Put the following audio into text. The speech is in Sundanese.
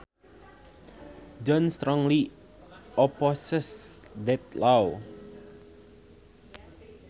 John strongly opposes that law